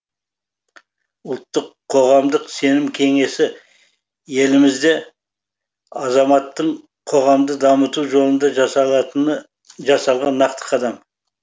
ұлттық қоғамдық сенім кеңесі елімізде азаматтың қоғамды дамыту жолында жасалған нақты қадам